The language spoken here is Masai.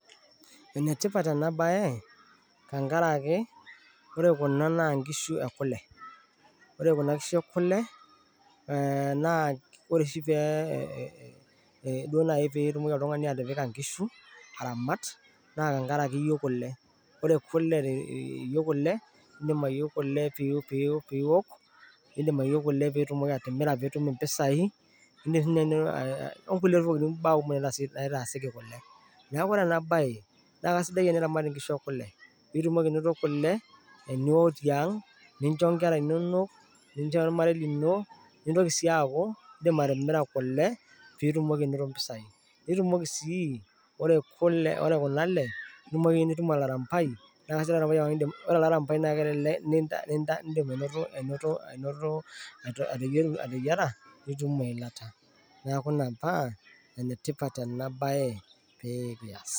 Enetipat ena baye tenkaraki ore kuna naa inkishu ekule, ore kuna kishu ekule ee ore oshi pee itumoki oltung'ani atipika nkishu, aramat naa tenkaraki iyieu kule, iindim ayieu kule pee iok, niidim ayieu pee imirr piitum impisai onkulie tokitin mbaa kumok naitaasieki kule. Neeku kasidai teniramata nkishu ekule pee itumoki anoto kule niiok tiang' nincho nkerra inonok, nincho ormarei lino nintoki sii aaku iindim atimira kule pee itumoki anoto impisai, ore kuna ale nishum nitum olairambai, ore olairambai naa iindim ataeyiara nitum eilata. Neeku metaa enetipat ena baye pee iaas.